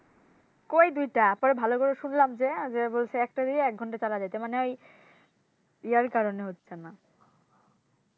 কই দুইটা? পরে ভালো করে শুনলাম যে যে বলছে একটা দিয়ে এক ঘন্টা চালায়ে যাইতে মানে ঐ ইয়ার কারণে হচ্ছেনা